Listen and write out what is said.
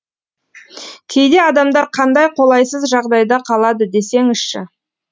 кейде адамдар қандай қолайсыз жағдайда қалады десеңізші